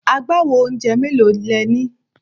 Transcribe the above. Agbawo oúnjẹ mélòó le ní?